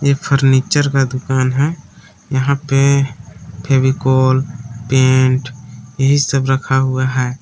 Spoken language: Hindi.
एक फर्नीचर का दुकान है यहां पे फेविकोल पेंट यही सब रखा हुआ है।